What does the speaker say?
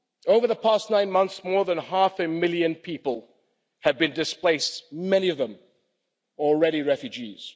Over the past nine months, more than half a million people have been displaced, many of them already refugees.